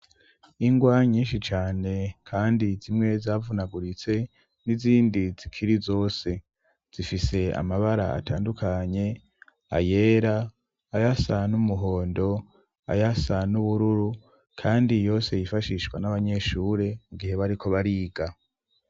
Ingwa nyinshi cane kandi zimwe zavunaguritse ,n'izindi zikiri zose zifise amabara atandukanye ,ayera ,ayasa n 'umuhondo, ayasa n 'ubururu ,kandi yose yifashishwa n'abanyeshure mugihe bariko bariga.